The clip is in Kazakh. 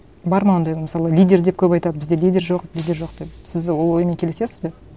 бар ма ондай мысалы лидер деп көп айтады бізде лидер жоқ лидер жоқ деп сіз ол оймен келісесіз бе